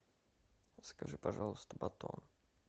закажи пожалуйста батон